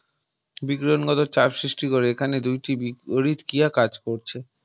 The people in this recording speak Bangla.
বিক্রয়নগত চাপ সৃষ্টি করে এখানে দুটি বিপরীত ক্রিয়া কাজ করছে